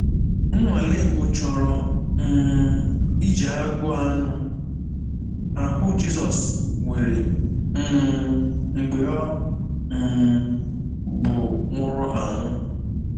Nnwale mbụ chọrọ um iji agụụ anụ ahụ Jizọs nwere um mgbe ọ um bụ nwụrụ anwụ.